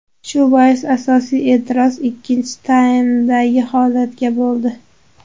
Shu bois asosiy e’tiroz ikkinchi taymdagi holatga bo‘ldi.